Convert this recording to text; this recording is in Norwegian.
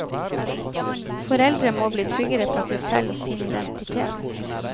Foreldre må bli trygge på seg selv og sin identitet.